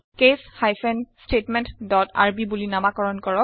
case hyphen statement dot r b বুলি নামাকৰণ কৰক